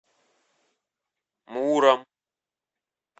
муром